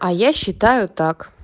а я считаю так